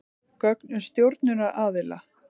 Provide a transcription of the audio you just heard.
Gögn um stjórnunaraðila.